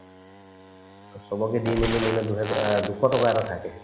আৰু চবকে দি মেলি মোলে দুহেজাৰ দুশ টকা এটা থাকে